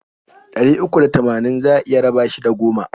Ɗari uku da tamanin za a iya raba shi da goma.